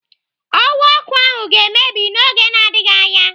Ọwa ọkụ ahụ ga-emebi n'oge na-adịghị anya.